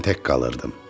Mən tək qalırdım.